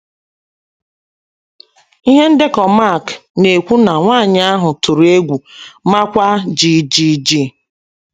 Ihe ndekọ Mak na - ekwu na nwanyị ahụ ‘ tụrụ egwu, maakwa jijiji. ’